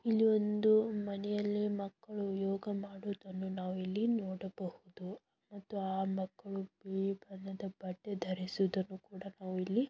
ಇಲ್ಲಿ ಒಂದು ಮನೆಯಲ್ಲಿ ಮಕ್ಕಳು ಯೋಗ ಮಾಡುವುದನ್ನು ನಾವು ಇಲ್ಲಿ ನೋಡಬಹುದು ಮತ್ತು ಆ ಮಕ್ಕಳು ಬಿಳಿ ಬಣ್ಣದ ಬಟ್ಟೆ ಧರಿಸುವುದನ್ನು ಕೂಡ ನಾವು ಇಲ್ಲಿ --